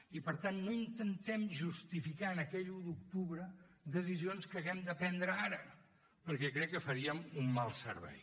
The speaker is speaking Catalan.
i per tant no intentem justificar en aquell un d’octubre decisions que haguem de prendre ara perquè crec que faríem un mal servei